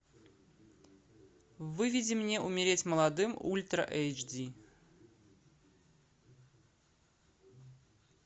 выведи мне умереть молодым ультра эйч ди